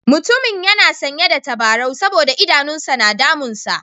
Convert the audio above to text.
Mutumin yana sanye da tabarau saboda idanun sa na damunsa.